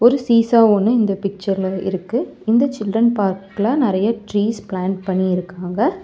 ஒரு சீஸா ஒன்னு இந்த பிச்சர்ல இருக்கு இந்த சில்ரன் பார்க்கல நறைய ட்ரீஸ் பிளான் பண்ணி இருக்காங்க.